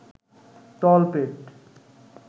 তলপেট